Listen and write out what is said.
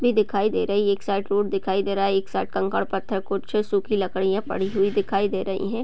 भी दिखाई दे रही है। एक साइड रोड दिखाई दे रहा है। एक साइड कंकर पत्थर कुछ सुखी लकडियाँ पड़ी हुई दिखाई दे रही है।